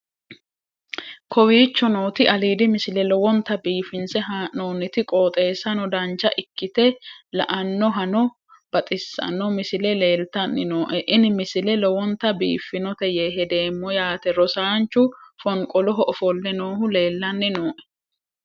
kowicho nooti aliidi misile lowonta biifinse haa'noonniti qooxeessano dancha ikkite la'annohano baxissanno misile leeltanni nooe ini misile lowonta biifffinnote yee hedeemmo yaate rosaanchu fonqoloho ofolle noohu leellanni nooe